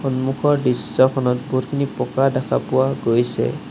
সন্মুখৰ দৃশ্যখনত বহুতখিনি পকা দেখা পোৱা গৈছে।